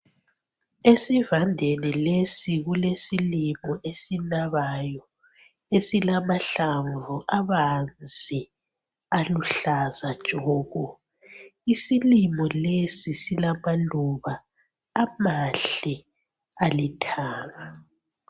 Esivandeni lesi kulesilimo esinabayo esilamahlamvu abanzi aluhlaza tshoko isilimo lesi silamaluba amahle alithanga.